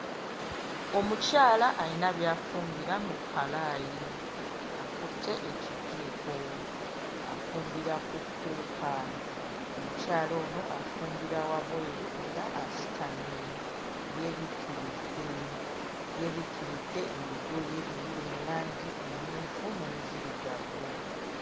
Omukyala alina by'afumbira mu kkalaayi, akutte ekijiiko afumbira ku cooker. Omukyala ono afumbira wabweru era asitamye, yeebikkiridde, yeebikkiridde ebigoye ebiri mu langi emmyufu n'enzirugavu.